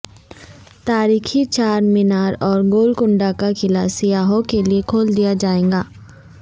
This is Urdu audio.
تاریخی چارمینار اور گولکنڈہ کا قلعہ سیاحوں کے لئے کھول دیا جائے گا